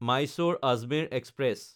মাইছ'ৰ–আজমেৰ express